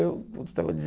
Eu estava